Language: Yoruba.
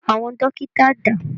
Àwọn dọ́kítá dà?